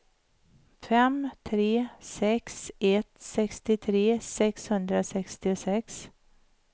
fem tre sex ett sextiotre sexhundrasextiosex